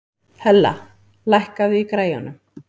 Hella, lækkaðu í græjunum.